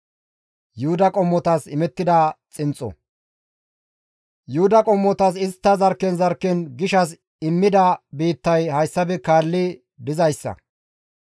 Yuhuda qommotas istta zarkken zarkken gishshas immida biittay hayssafe kaalli dizayssa.